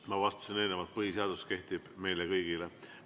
Ma vastasin eelnevalt, et põhiseadus kehtib meile kõigile.